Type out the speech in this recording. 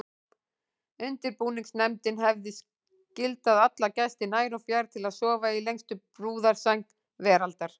Undirbúningsnefndin hefði skyldað alla gesti nær og fjær til að sofa í lengstu brúðarsæng veraldar.